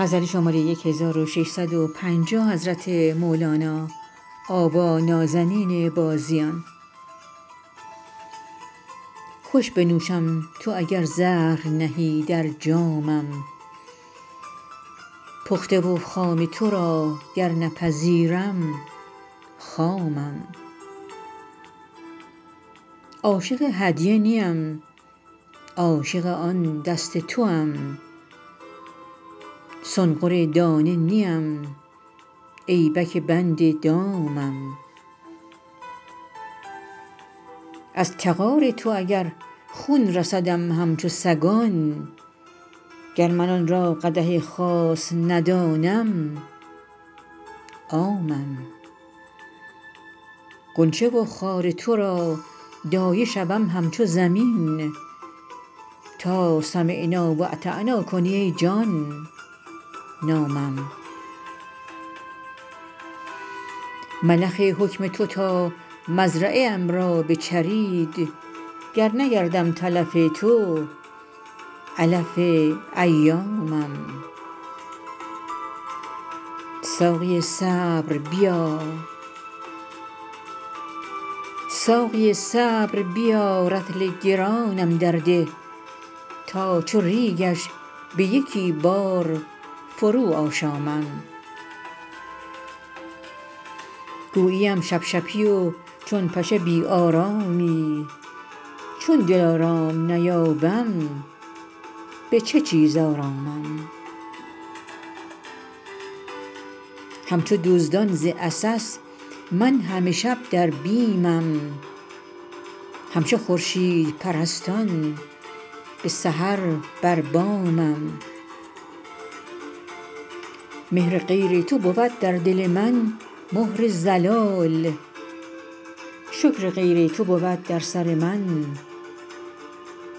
خوش بنوشم تو اگر زهر نهی در جامم پخته و خام تو را گر نپذیرم خامم عاشق هدیه نیم عاشق آن دست توام سنقر دانه نیم ایبک بند دامم از تغار تو اگر خون رسدم همچو سگان گر من آن را قدح خاص ندانم عامم غنچه و خار تو را دایه شوم همچو زمین تا سمعنا و اطعنا کنی ای جان نامم ملخ حکم تو تا مزرعه ام را بچرید گر نگردم تلف تو علف ایامم ساقی صبر بیا رطل گرانم درده تا چو ریگش به یکی بار فروآشامم گوییم شپشپی و چون پشه بی آرامی چون دلارام نیابم به چه چیز آرامم همچو دزدان ز عسس من همه شب در بیمم همچو خورشیدپرستان به سحر بر بامم مهر غیر تو بود در دل من مهر ضلال شکر غیر تو بود در سر من